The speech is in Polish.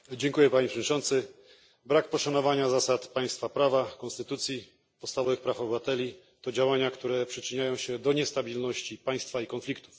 Panie Przewodniczący! Brak poszanowania zasad państwa prawa, konstytucji, podstawowych praw obywateli to działania, które przyczyniają się do niestabilności państwa i konfliktów.